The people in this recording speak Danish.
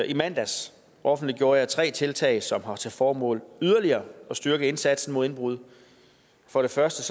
i mandags offentliggjorde jeg tre tiltag som har til formål yderligere at styrke indsatsen mod indbrud for det første